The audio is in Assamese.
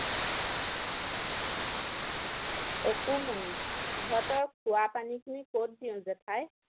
অকমানি - ইহঁতৰ খোৱাপানীখিনি কত দিওঁ জেঠাই